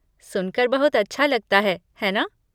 सुनकर बहुत अच्छा लगता है, है ना?